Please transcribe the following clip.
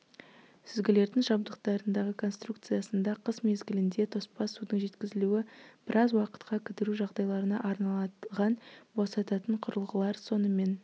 сүзгілердің жабдықтарындағы конструкциясында қыс мезгілінде тоспа судың жеткізілуі біраз уақытқа кідіру жағдайларына арналған босататын құрылғылар сонымен